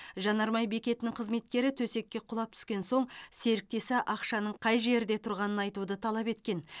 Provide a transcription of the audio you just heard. жанармай бекетінің қызметкері төсекке құлап түскен соң серіктесі ақшаның қай жерде тұрғанын айтуды талап еткен